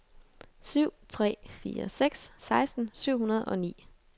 syv tre fire seks seksten syv hundrede og ni